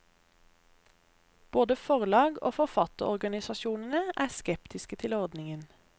Både forlag og forfatterorganisasjonene er skeptiske til ordningen.